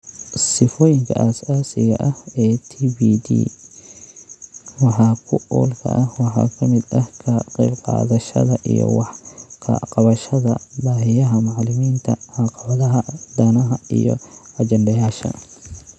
Sifooyinka asaasiga ah ee TPD wax ku oolka ah waxaa ka mid ah ka qaybqaadashada iyo wax ka qabashada baahiyaha macalimiinta, caqabadaha, danaha, iyo ajandayaasha.